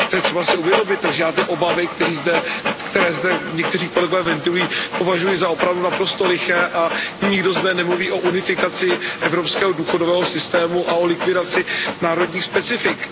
To je třeba si uvědomit, takže já ty obavy, které zde někteří kolegové ventilují, považuji za opravdu naprosto liché a nikdo zde nemluví o unifikaci evropského důchodového systému a o likvidaci národních specifik.